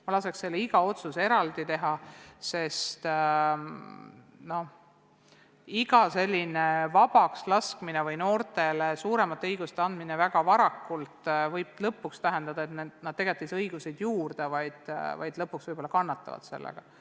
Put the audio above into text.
Ma laseks iga otsuse eraldi teha, sest iga selline leevendus või noortele väga varakult suuremate õiguste andmine võib lõpuks tähendada, et nad ei saa õigusi juurde, vaid pigem kannatavad nende tõttu.